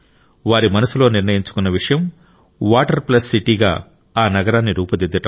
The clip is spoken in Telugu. వారి మనసులో నిర్ణయించుకున్న విషయం వాటర్ ప్లస్ సిటీ గా ఆ నగరాన్ని రూపుదిద్దడం